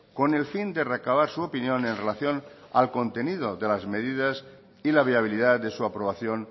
con el fin de recabar su opinión en relación al contenido de las medidas y la viabilidad de su aprobación